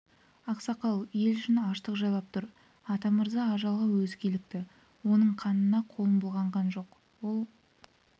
ақсақал ел ішін аштық жайлап тұр атамырза ажалға өзі килікті оның қанына қолым былғанған жоқ ол